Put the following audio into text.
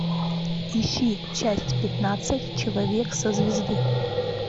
ищи часть пятнадцать человек со звезды